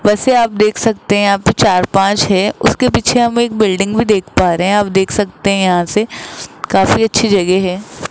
बसें आप देख सकते हैं यहां पे चार पांच है उसके पीछे हम एक बिल्डिंग भी देख पा रहे हैं आप देख सकते हैं यहां से काफी अच्छी जगह है।